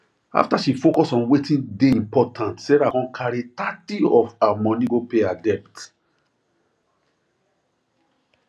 after she focus on wetin really dey important sarah con carry thirty of her money go pay her debt